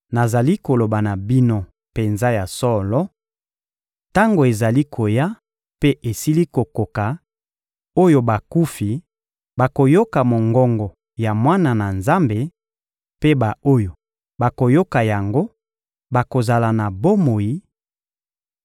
Nazali koloba na bino penza ya solo: tango ezali koya mpe esili kokoka oyo bakufi bakoyoka mongongo ya Mwana na Nzambe, mpe ba-oyo bakoyoka yango bakozala na bomoi;